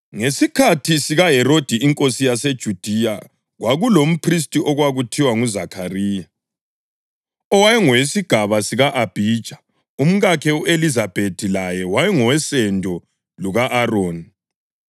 Ngesikhathi sikaHerodi inkosi yaseJudiya kwakulomphristi okwakuthiwa nguZakhariya, owaye ngowesigaba sika-Abhija, umkakhe u-Elizabethi laye wayengowosendo luka-Aroni.